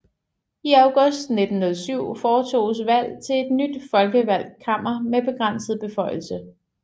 I august 1907 foretoges valg til et nyt folkevalgt kammer med begrænset beføjelse